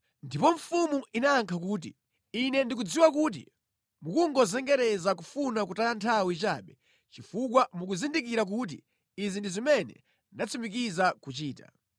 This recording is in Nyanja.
Ndipo mfumu inayankha kuti, “Ine ndikudziwa kuti mukungozengereza kufuna kutaya nthawi chabe chifukwa mukuzindikira kuti izi ndi zimene ndatsimikiza kuchita.